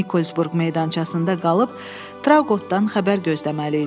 Nikolsburq meydançasında qalıb Traqoqdan xəbər gözləməli idilər.